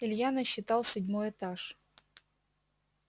илья насчитал седьмой этаж